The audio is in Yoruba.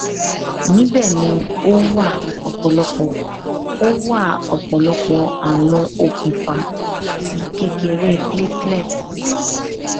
nibẹ ni o wa ọpọlọpọ o wa ọpọlọpọ awọn okunfa ti kekere platelet